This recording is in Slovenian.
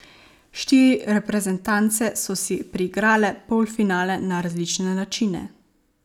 Štiri reprezentance so si priigrale polfinale na različne načine.